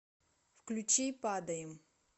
включи падаем